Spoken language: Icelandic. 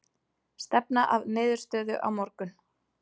Stefna að niðurstöðu á morgun